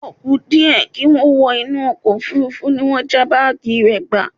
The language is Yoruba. O kú díẹ̀ kí ó wọ inú ọkọ̀ òfuurufú ní wọ́n já báàgì rẹ̀ gbà